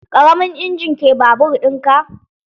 Ƙaramin injin ke babur ɗin ka?